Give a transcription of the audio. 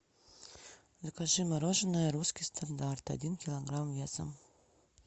закажи мороженое русский стандарт один килограмм весом